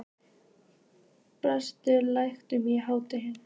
Róselía, lækkaðu í hátalaranum.